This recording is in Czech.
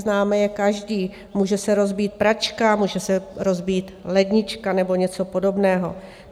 Známe je každý - může se rozbít pračka, může se rozbít lednička nebo něco podobného.